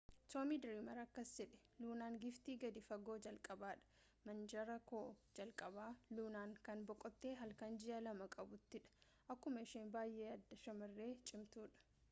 tommy dreamer akkas jedhe luunaan giiftii gadi fagoo jalqabaadha manaajaraa koo jalqaba luunaan kan boqotte halkan ji'a lama qabuttii dha akkuma ishee baayee adda shamaree cimtuu